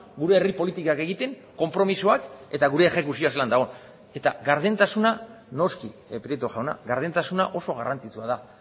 gure herri politikak egiten konpromisoak eta gure exekuzioa zelan dagoen eta gardentasuna noski prieto jauna gardentasuna oso garrantzitsua da